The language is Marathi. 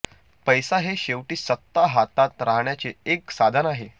पैसा हे शेवटी सत्ता हातात राहण्याचे एक साधन आहे